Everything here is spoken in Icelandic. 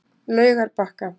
Laugarbakka